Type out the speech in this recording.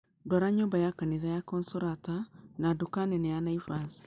ndwara nyũmba ya kanitha ya Consolata na duka nene ya Naivas